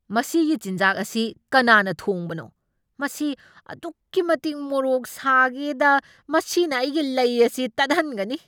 ꯃꯁꯤꯒꯤ ꯆꯤꯟꯖꯥꯛ ꯑꯁꯤ ꯀꯅꯥꯅ ꯊꯣꯡꯕꯅꯣ? ꯃꯁꯤ ꯑꯗꯨꯛꯀꯤ ꯃꯇꯤꯛ ꯃꯔꯣꯛ ꯁꯥꯒꯦꯗ ꯃꯁꯤꯅ ꯑꯩꯒꯤ ꯂꯩ ꯑꯁꯤ ꯇꯠꯍꯟꯒꯅꯤ꯫